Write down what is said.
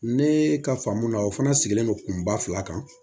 Ne ka faamu na o fana sigilen don kunba fila kan